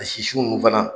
A sisi ninnu fana